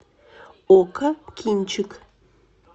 окко кинчик